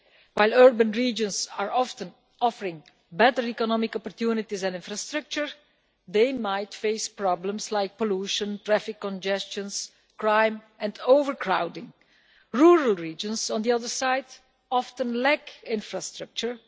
While urban regions often offer better economic opportunities and infrastructure, they might face problems like pollution, traffic congestion, crime and overcrowding. Rural regions, on the other hand, often lack infrastructure.